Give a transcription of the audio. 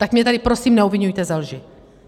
Tak mě tady prosím neobviňujte ze lži.